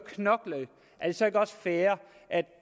fair at